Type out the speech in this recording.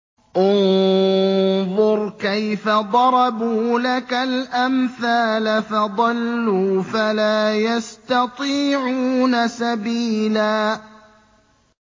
انظُرْ كَيْفَ ضَرَبُوا لَكَ الْأَمْثَالَ فَضَلُّوا فَلَا يَسْتَطِيعُونَ سَبِيلًا